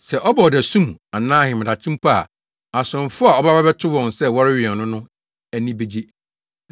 Sɛ ɔba ɔdasu mu anaa ahemadakye mpo a asomfo a ɔbɛba abɛto wɔn sɛ wɔrewɛn no no ani begye.